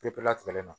Pepere